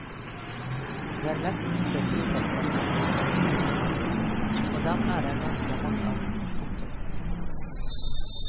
Det er lett å miste trofaste fans, komma og dem er det ganske mange av. punktum